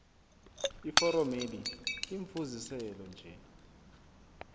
iforomeli limfuziselo nje